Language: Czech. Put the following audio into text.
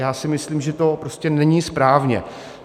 Já si myslím, že to prostě není správně.